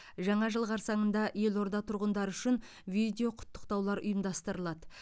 жаңа жыл қарсаңында елорда тұрғындары үшін видеоқұттықтаулар ұйымдастырылады